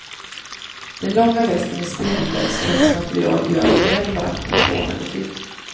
Den långa västen i spindelvävstunt material gör väl varken från eller till.